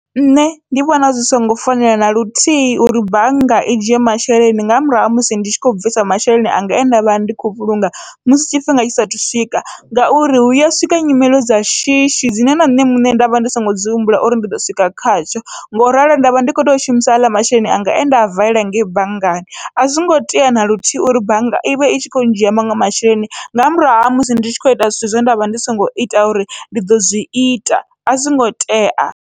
Nṋe ndi vhona zwi songo fanela naluthihi uri bannga i dzhie masheleni nga murahu ha musi ndi tshi kho bvisa masheleni anga e ndavha ndi khou vhulunga musi tshifhinga tshi saathu u swika, ngauri hu ya swika nyimele dza shishi dzine na nṋe muṋe ndavha ndi songo dzi humbula uri ndi ḓo swika khatsho, ngauralo ndavha ndi kho tea u shumisa aḽa masheleni anga ende a valela ngei banngani. Azwongo tea naluthihi uri bannga ivha itshi kho dzhia maṅwe masheleni nga murahu ha musi ndi tshi kho ita zwithu zwe ndavha ndi songo ita uri ndi ḓo zwi ita azwingo tea.